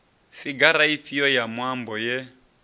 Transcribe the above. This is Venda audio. figara ifhio ya muambo ye